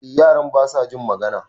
Eh yaran basa jin magana